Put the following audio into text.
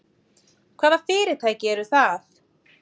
Hvaða fyrirtæki eru það?